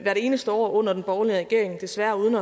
eneste år under den borgerlige regering desværre uden